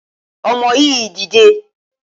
Ọmọ yìí dìde!